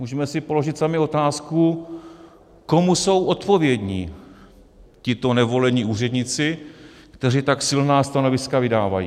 Můžeme si položit sami otázku, komu jsou odpovědni tito nevolení úředníci, kteří tak silná stanoviska vydávají.